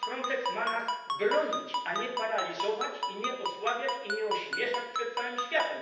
Frontex ma nas bronić, a nie paraliżować i nie osłabiać, i nie ośmieszać przed całym światem.